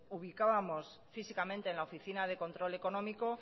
ubicábamos físicamente en la oficina de control económico